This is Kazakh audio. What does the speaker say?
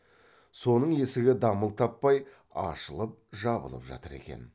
соның есігі дамыл таппай ашылып жабылып жатыр екен